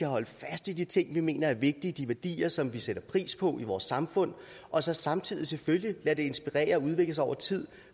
holde fast i de ting vi mener er vigtige i de værdier som vi sætter pris på i vores samfund og så samtidig selvfølgelig lade det inspirere og udvikle sig over tid